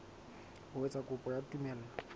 ho etsa kopo ya tumello